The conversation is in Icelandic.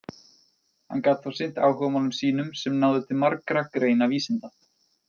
Hann gat þá sinnt áhugamálum sínum sem náðu til margra greina vísinda.